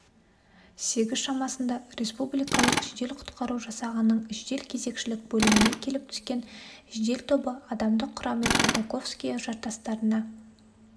сегіз шамасында республикалық жеде-құтқару жасағының жедел-кезекшілік бөліміне келіп түскен жедел тобы адамдық құраммен бутаковское жартастарына